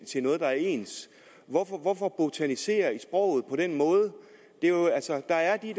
til noget der er ens hvorfor hvorfor botanisere i sproget på den måde der er de